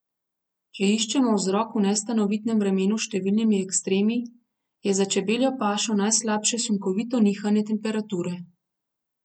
Če iščemo vzrok v nestanovitnem vremenu s številnimi ekstremi, je za čebeljo pašo najslabše sunkovito nihanje temperature.